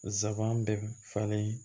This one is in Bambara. Zaban bɛɛ falen